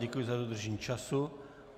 Děkuji za dodržení času.